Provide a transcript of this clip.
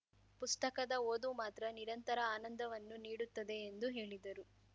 ಪುಸ್ತಕದ ಓದು ಮಾತ್ರ ನಿರಂತರ ಆನಂದವನ್ನು ನೀಡುತ್ತದೆ ಎಂದು ಹೇಳಿದರು